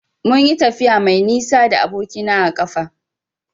Munyi tafiya mai nisa da aboki na a ƙafa.